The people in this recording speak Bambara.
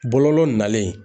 Bɔlɔlɔ nalen.